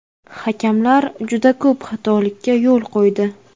Hakamlar juda ko‘p xatolikka yo‘l qo‘ydi.